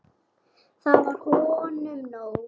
Það var honum nóg.